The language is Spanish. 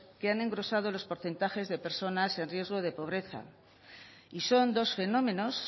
que han engrosado los porcentajes de personas en riesgo de pobreza y son dos fenómenos